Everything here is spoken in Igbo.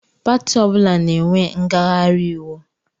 Pati ọbụla na-enwe ngaghari íwú.